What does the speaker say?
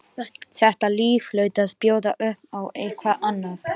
Þetta líf hlaut að bjóða upp á eitthvað annað.